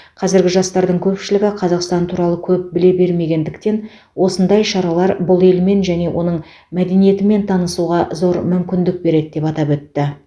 қазіргі жастардың көпшілігі қазақстан туралы көп біле бермегендіктен осындай шаралар бұл елмен және оның мәдениетімен танысуға зор мүмкіндік береді деп атап өтті